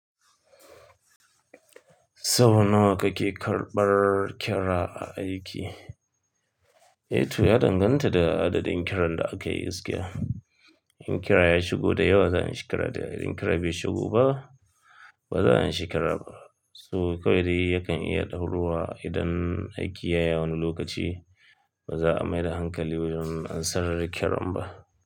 Sau nawa kake karɓar ƙira a aiki? Eh to ya danganta da adadin ƙiran da aka yi gaskiya In ƙira ya shigo da yawa za a anshi kira dayawa idan ƙira bai shigo ba, ba za a yi anshi kiraba To kawai dai yakan iya ɗaurowa idan aiki ya yi wani lokaci ba za a mai da hankali wajen ansarar ƙiran ba.